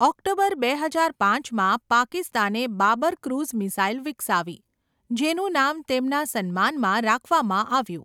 October બે હજાર પાંચમાં, પાકિસ્તાને બાબર ક્રૂઝ મિસાઈલ વિકસાવી, જેનું નામ તેમના સન્માનમાં રાખવામાં આવ્યું.